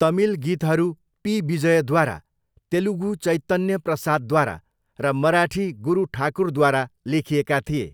तमिल गीतहरू पी विजयद्वारा, तेलुगु चैतन्य प्रसादद्वारा र मराठी गुरु ठाकुरद्वारा लेखिएका थिए।